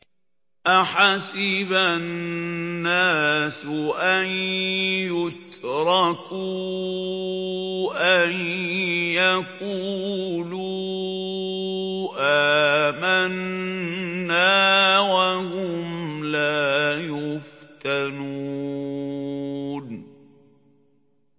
أَحَسِبَ النَّاسُ أَن يُتْرَكُوا أَن يَقُولُوا آمَنَّا وَهُمْ لَا يُفْتَنُونَ